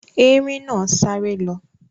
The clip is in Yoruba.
erin na sare lo.